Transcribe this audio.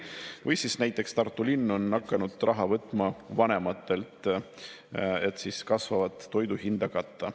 Või siis näiteks Tartu linn on hakanud raha võtma vanematelt, et kasvavat toidu hinda katta.